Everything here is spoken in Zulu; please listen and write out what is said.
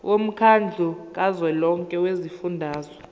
womkhandlu kazwelonke wezifundazwe